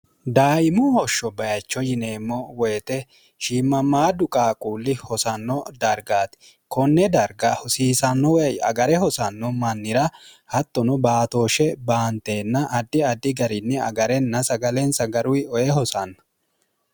daimo hoshsho bayicho yineemmo woyite shiimmammaaddu qaaquulli hosanno dargaati konne darga hosiisanno wey agare hosanno mannira hattono baatooshshe baanteenna addi addi garinni agarenna sagaleensa garuwi oye hosanna